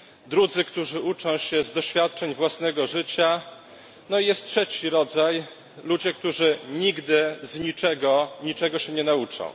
drudzy, którzy uczą się z doświadczeń własnego życia, no i jest trzeci rodzaj ludzie, którzy nigdy z niczego niczego się nie nauczą.